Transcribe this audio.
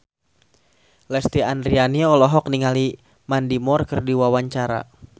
Lesti Andryani olohok ningali Mandy Moore keur diwawancara